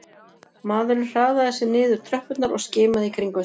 Maðurinn hraðaði sér niður tröppurnar og skimaði í kringum sig